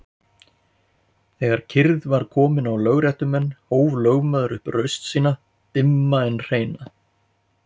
Þegar kyrrð var komin á lögréttumenn hóf lögmaður upp raust sína dimma en hreina.